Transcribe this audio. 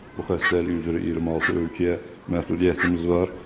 Bu xəstəlik üzrə 26 ölkəyə məhdudiyyətimiz var.